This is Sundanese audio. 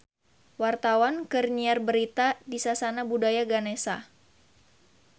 Wartawan keur nyiar berita di Sasana Budaya Ganesha